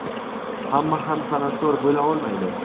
hamma ham san’atkor bo‘la olmaydi.